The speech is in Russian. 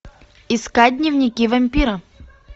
искать дневники вампира